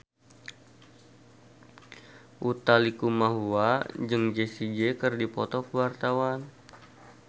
Utha Likumahua jeung Jessie J keur dipoto ku wartawan